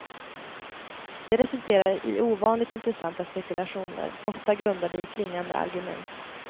Det resulterar i ovanligt intressanta spekulationer, ofta grundade i klingande argument.